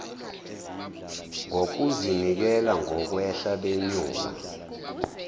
ngokuzinikela ngokwehla benyuka